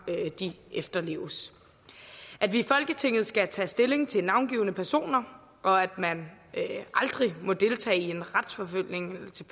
efterleves at vi i folketinget skal tage stilling til navngivne personer og at man aldrig må deltage i en retsforfølgelse